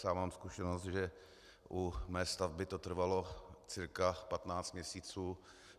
Sám mám zkušenost, že u mé stavby to trvalo cca 15 měsíců.